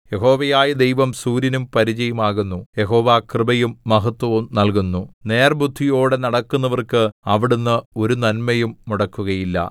യഹോവയായ ദൈവം സൂര്യനും പരിചയും ആകുന്നു യഹോവ കൃപയും മഹത്വവും നല്കുന്നു നേർബുദ്ധിയോടെ നടക്കുന്നവർക്ക് അവിടുന്ന് ഒരു നന്മയും മുടക്കുകയില്ല